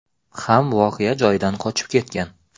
ham voqea joyidan qochib ketgan.